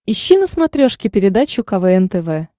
ищи на смотрешке передачу квн тв